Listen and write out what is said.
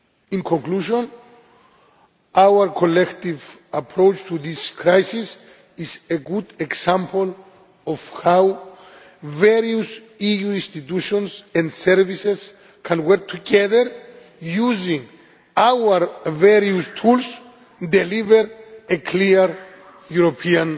In conclusion our collective approach to this crisis is a good example of how various EU institutions and services can work together using our various tools to deliver a clear European